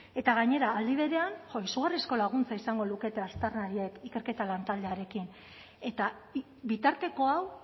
eta gainera aldi berean jo izugarrizko laguntza izango lukete aztarnariek ikerketa lantaldearekin eta bitarteko hau